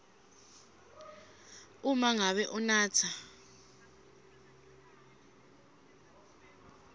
uma ngabe unatsa